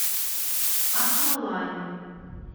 аквалайн